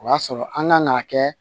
O y'a sɔrɔ an ka n'a kɛ